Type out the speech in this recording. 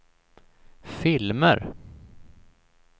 filmer